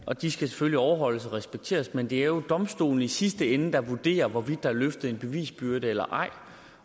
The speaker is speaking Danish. og de skal selvfølgelig overholdes og respekteres men det er jo domstolene i sidste ende der vurderer hvorvidt der er løftet en bevisbyrde eller ej